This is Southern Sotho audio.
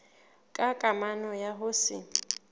ka kamano ya ho se